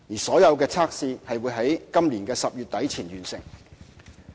所有測試會於今年10月底前完成。